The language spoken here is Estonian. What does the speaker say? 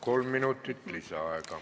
Kolm minutit lisaaega.